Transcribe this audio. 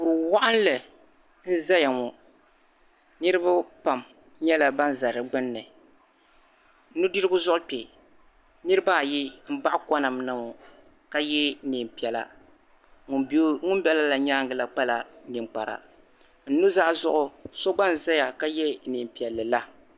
Kuri waɣinli n ʒɛya ŋɔ niriba pam nyɛla ban za di gbuni nudirigu zuɣu kpe niriba ayi m baɣi konani ŋɔ ka yɛ liiga piɛla ŋun pa ŋun bala la zuɣu koala ninkpara n nuzaa zuɣu so gba n zaya ka yɛ neen piɛlla